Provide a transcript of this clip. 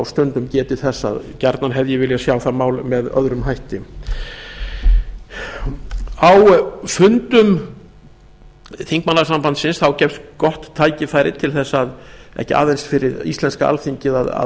stundum getið þess að gjarnan hefði ég viljað sjá það mál með öðrum hætti á fundum þingmannasambandsins gefst gott tæki færi ekki aðeins fyrir íslenska alþingi að